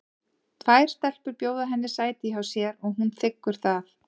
Tvær stelpur bjóða henni sæti hjá sér og hún þiggur það.